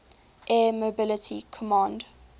air mobility command